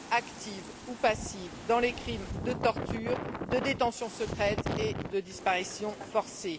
active ou passive dans les crimes de torture, de détention secrète et de disparitions forcées.